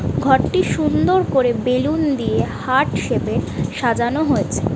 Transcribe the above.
ঘরটি সুন্দর করে বেলুন দিয়ে হার্ট সেপে সাজানো হয়েছে।